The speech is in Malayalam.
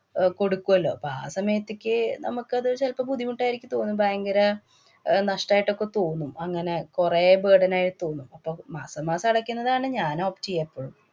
ആഹ് കൊടുക്കുവല്ലോ. അപ്പൊ ആ സമയത്തേക്ക് നമ്മക്കത് ചെലപ്പ ബുദ്ധിമുട്ടായിക്ക് തോന്നും. ഭയങ്കര അഹ് നഷ്ടായിട്ട്‌ ഒക്കെ തോന്നും. അങ്ങനെ കൊറേ burden ആയി തോന്നും. അപ്പൊ മാസാമാസം അടയ്ക്കുന്നതാണ് ഞാന്‍ opt ചെയ്യ എപ്പോഴും.